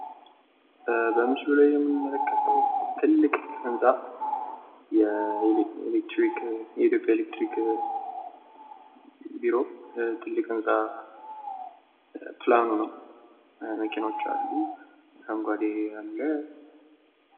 በምስሉ ላይ የምንመለከተዉ ትልቅ ህንጻ ፤ የኢትዮጵያ ኤሌክትሪክ ቢሮ፣ ትልቅ ይህጻ ፕላኑ ነው መኪናዎች አሉ ፣ አረንጓዴ ነገር አለ።